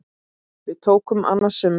Við tóku annasöm ár.